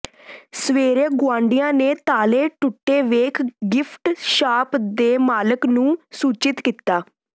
ਸਵੇਰੇ ਗੁਆਂਢੀਆਂ ਨੇ ਤਾਲੇ ਟੁੱਟੇ ਵੇਖ ਗਿਫਟ ਸ਼ਾਪ ਦੇ ਮਾਲਕ ਨੂੰ ਸੂਚਿਤ ਕੀਤਾ